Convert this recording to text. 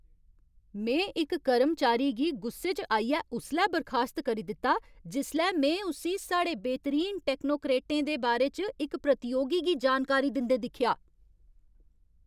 में इक कर्मचारी गी गुस्से च आइयै उसलै बर्खास्त करी दित्ता, जिसलै में उस्सी साढ़े बेहतरीन टैक्नोक्रेटें दे बारे च इक प्रतियोगी गी जानकारी दिंदे दिक्खेआ।